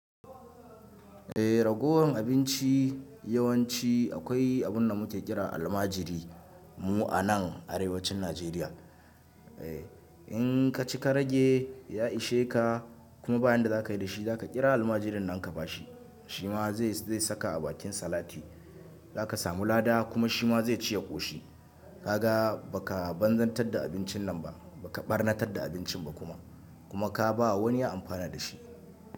Eh ragowar abinci yawanci akwai abun da muke kira almajiri mu a nan Arewacin Najeriya. Eh in ka cika rage ya ishe ka kuma bayan da za ka yi da shi, za ka kira almajirin nan ka ba shi, shi ma zai saka a bakin salati. Za ka samu lada kuma shi ma zai ci ya ƙoshi. Ka ga ba ka banzantar da abincin nan ba, ba ka ɓarnatar da abincin ba kuma. Kuma ka ba wa wani amfani da shi.